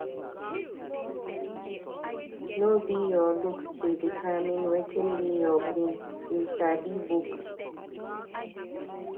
No be your looks dey determine wetin dey your brain, you sabi book.